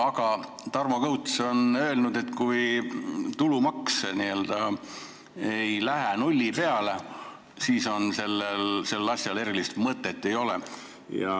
Aga Tarmo Kõuts on öelnud, et kui tulumaks ei lähe nulli peale, siis ei ole sellel asjal erilist mõtet.